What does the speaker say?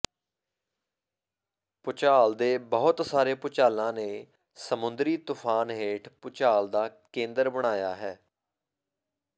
ਭੂਚਾਲ ਦੇ ਬਹੁਤ ਸਾਰੇ ਭੁਚਾਲਾਂ ਨੇ ਸਮੁੰਦਰੀ ਤੂਫਾਨ ਹੇਠ ਭੂਚਾਲ ਦਾ ਕੇਂਦਰ ਬਣਾਇਆ ਹੈ